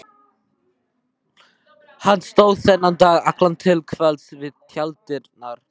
Hann stóð þennan dag allan til kvölds við tjalddyrnar.